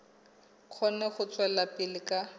kgone ho tswela pele ka